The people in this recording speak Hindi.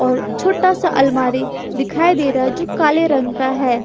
और छोटा सा अलमारी दिखाई दे रहा है जो काले रंग का है।